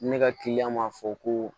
Ne ka kiliyan m'a fɔ ko